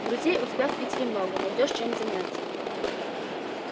друзей у тебя в питере много найдёшь чем заняться